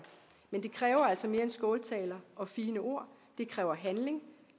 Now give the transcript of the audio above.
men det kræver altså mere end skåltaler og fine ord det kræver handling